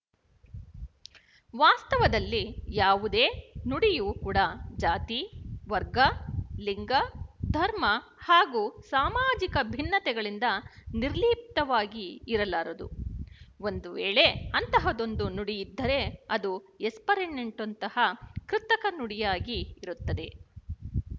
ವಾಸ್ತವದಲ್ಲಿ ಯಾವುದೇ ನುಡಿಯೂ ಕೂಡ ಜಾತಿವರ್ಗ ಲಿಂಗ ಧರ್ಮ ಹಾಗೂ ಸಾಮಾಜಿಕ ಭಿನ್ನತೆಗಳಿಂದ ನಿರ್ಲಿಪ್ತವಾಗಿ ಇರಲಾರದು ಒಂದುವೇಳೆ ಅಂತಹದೊಂದು ನುಡಿಯಿದ್ದರೇ ಅದು ಎಸ್ಪರೆಂಟೊನಂತಹ ಕೃತಕ ನುಡಿಯಾಗಿ ಇರುತ್ತದೆ